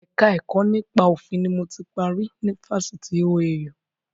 Ẹ̀ka ẹ̀kọ́ nípa òfin ni mo ti parí ni Fásitì OAU